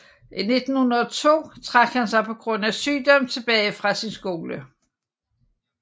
I 1902 trak han sig på grund af sygdom tilbage fra sin skole